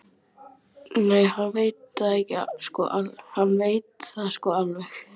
Nei, hann veit það sko alveg